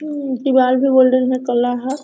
उम् दीवाल भी कला है।